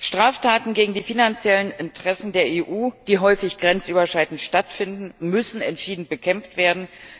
Straftaten gegen die finanziellen Interessen der EU, die häufig grenzüberschreitend stattfinden, müssen entschieden bekämpft werden.